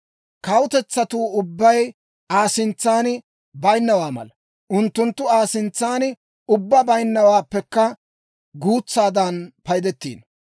Kawutetsatuu ubbay Aa sintsan baynnawaa mala; unttunttu Aa sintsan ubbaa baynabaappekka guutsaadan paydettiino.